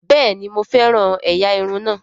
Bẹ́ẹ̀ni mo fẹ́ràn ẹ̀yà irun náà